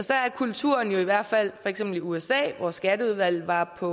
der er kulturen jo i hvert fald i usa hvor skatteudvalget var på